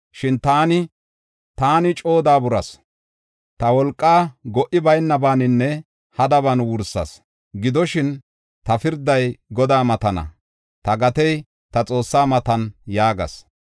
Shin taani, “Taani coo daaburas; ta wolqaa go77i baynabaninne hadaban wursas. Gidoshin, ta pirday Godaa matana; ta gatey ta Xoossaa matana” yaagas.